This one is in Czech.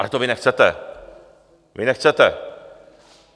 Ale to vy nechcete, vy nechcete!